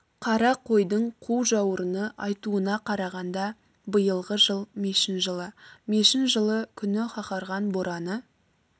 қара қойдың қу жауырыны айтуына қарағанда биылғы жыл мешін жылы мешін жылы күні қаһарған бораны